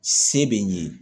Se bɛ n ye